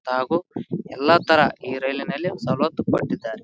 ತಾಗು ಎಲ್ಲಾ ತರ ಈ ರೈಲಿನಲ್ಲಿ ಸವಲತ್ತು ಪಟ್ಟಿದ್ದಾರೆ .